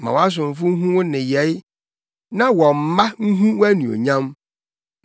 Ma wʼasomfo nhu wo nneyɛe na wɔn mma nhu wʼanuonyam.